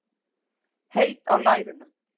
Heit á lærunum.